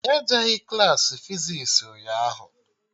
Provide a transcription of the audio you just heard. Anyị ejeghị Klassị fizis ụnyaahụ